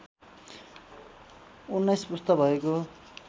१९ पुस्ता भएको